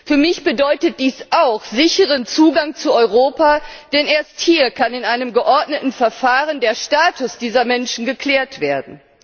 Für mich bedeutet dies auch sicheren Zugang zu Europa, denn erst hier kann in einem geordneten Verfahren der Status dieser Menschen geklärt werden.